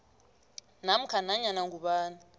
namkha nanyana ngubani